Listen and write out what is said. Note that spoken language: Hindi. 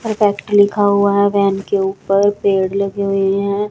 लिखा हुआ है वैन के ऊपर पेड़ लगे हुए है।